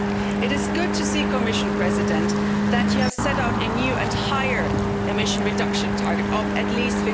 It is good to see, Commission President, that you have set out a new and higher emission reduction target of at least